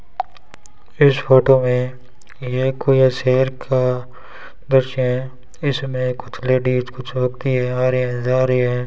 इस फोटो में ये कोई शहर का दृश्य है इसमें कुछ लेडीज कुछ होती हैं आ रहे है जा रहे है।